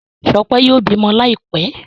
Shope yóò bímọ Láìpé.